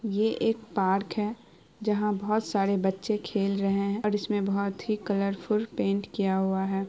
यह एक पार्क है जहाँ बहुत सारे बच्चे खेल रहे है और इसमें बहुत ही कलरफुल पेंट किया हुआ है।